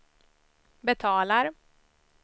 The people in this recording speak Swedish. betalar